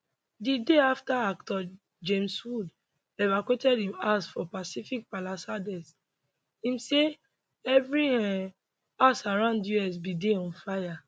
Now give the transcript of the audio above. the day after actor james woods evacuated im house for pacific palisades im say every um house around us bin dey on fire